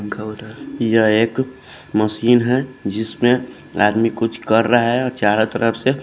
यह एक मशीन है जिसमें आदमी कुछ कर रहा है और चारों तरफ से--